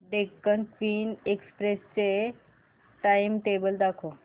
Deccan queen express चे timetable दाखव